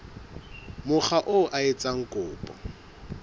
mokga oo a etsang kopo